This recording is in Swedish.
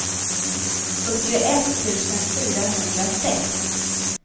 fyrtioett tusen fyrahundrasex